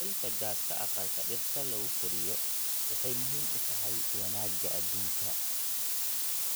Yaraynta gaaska aqalka dhirta lagu koriyo waxay muhiim u tahay wanaagga aduunka.